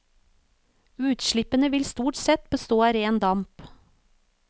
Utslippene vil stort sett bestå av ren damp.